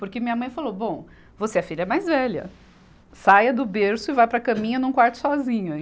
Porque minha mãe falou, bom, você é a filha mais velha, saia do berço e vá para a caminha num quarto sozinha.